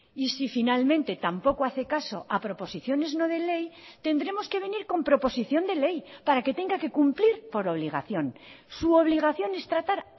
y si finalmente tampoco hace caso a proposiciones no de ley tendremos que venir con proposición de ley para que tenga que cumplir por obligación su obligación es tratar